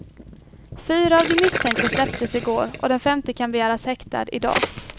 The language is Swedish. Fyra av de misstänkta släpptes i går och den femte kan begäras häktad idag.